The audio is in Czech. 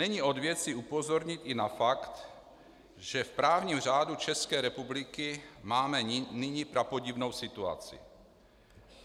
Není od věci upozornit i na fakt, že v právním řádu České republiky máme nyní prapodivnou situaci.